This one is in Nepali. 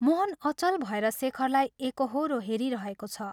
मोहन अचल भएर शेखरलाई एकोहोरो हेरिरहेको छ।